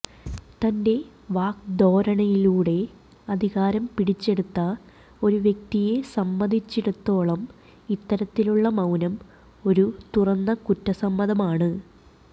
തന്റെ വാഗ്ധോരണിയിലൂടെ അധികാരം പിടിച്ചെടുത്ത ഒരു വ്യക്തിയെ സമ്മതിച്ചിടത്തോളം ഇത്തരത്തിലുള്ള മൌനം ഒരു തുറന്ന കുറ്റസമ്മതമാണ്